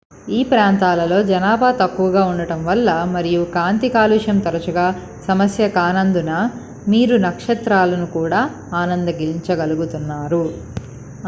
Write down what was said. ఈ ప్రాంతాలలో జనాభా తక్కువగా ఉండటం వల్ల మరియు కాంతి కాలుష్యం తరచుగా సమస్య కానందున మీరు నక్షత్రాలను కూడా ఆనందించగలుగుతారు